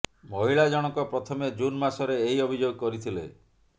ମହିଳା ଜଣକ ପ୍ରଥମେ ଜୁନ ମାସରେ ଏହି ଅଭିଯୋଗ କରିଥିଲେ